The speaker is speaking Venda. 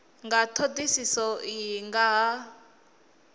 nga thodisiso iyi nga ha